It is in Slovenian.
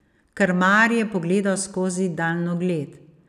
Krmar je pogledal skozi daljnogled.